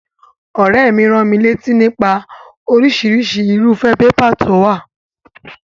Òréè mi ránmilátí nípa orísirísi irúfé paper to wò